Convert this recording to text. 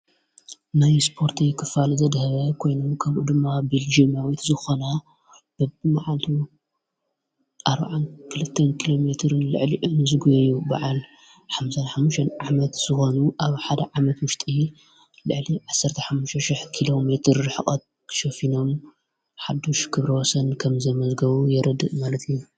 ናይ ስጶርቱ ክፋል ዘድህ ኮይኑ ከምኡ ድማ ቤልግ መዊት ዝኾና በብመዓልሉ ኣዓ ክልተን ኪሎ ሜርን ልዕሊዑን ዝጐይዩ በዓል ሓዓሙን ዓመት ዝዋኑ ኣብ ሓደ ዓመት ዉሽጢ ልዕሊ ዓሠሓሽሽሕ ኪሎ ሜር ኅቖት ክሸፊኖም ሓሽ ክብሮሰን ከም ዘመዘገዉ የረድእ ማለት እዩ።